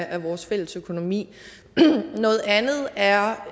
af vores fælles økonomi noget andet er